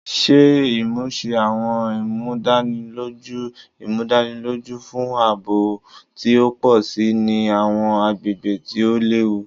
Ṣe imuse Awọn Imudaniloju Imudaniloju fun aabo ti o pọ si ni awọn agbegbe ti o lewu